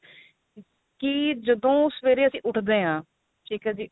ਕੀ ਜਦੋ ਸਵੇਰੇ ਅਸੀਂ ਉਠਦੇ ਆਂ ਠੀਕ ਏ ਜੀ